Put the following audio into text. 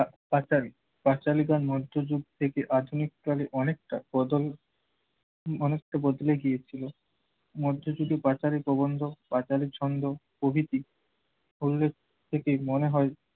পাঁচালী, পাঁচালীরা মধ্যযুগ থেকে আধুনিক কালে অনেকটা প্রজন উম অনেকটা বদলে গিয়েছিল। মধ্যযুগে পাঁচালী প্রবন্ধ, পাঁচালী ছন্দ প্রভৃতি উল্লেখ থেকে মনে হয়